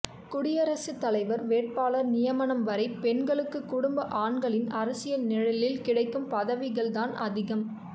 குடியரசுத்தலைவர் வேட்பாளர் நியமனம் வரை பெண்களுக்கு குடும்ப ஆண்களின் அரசியல் நிழலில் கிடைக்கும் பதவிகள் தான் அதிகம்